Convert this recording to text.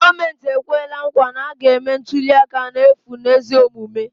Gọọmenti ekwela nkwa na a ga-eme ntuliaka n'efu na ezi omume